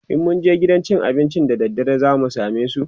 in mun je gidan cin abincin da daddare zamu samesu?